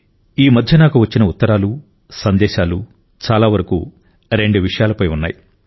ఈ రోజుల్లో నాకు వచ్చిన ఉత్తరాలు సందేశాలు చాలా వరకు రెండు విషయాలపై ఉన్నాయి